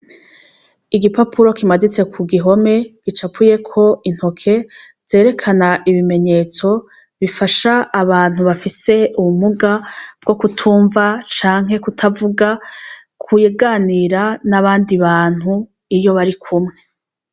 Igipapuro kimaditse ku gihome, gicapuyeko intoke, zerekana ibimenyetso, bifasha abantu bafise ubumuga bwo kutumva canke kutavuga, kuganira n'abandi bantu iyo barikumwe.